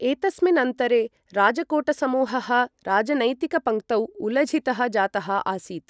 एतस्मिन्नन्तरे राजकोटसमूहः राजनैतिकपङ्क्तौ उलझितः जातः आसीत् ।